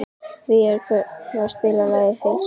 Végeir, kanntu að spila lagið „Heilræðavísur“?